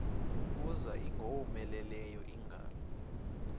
kuza ingowomeleleyo ingalo